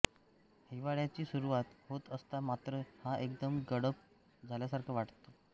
हिवाळ्याची सुरुवात होत असता मात्र हा एकदम गडप झाल्यासारखा वाटतो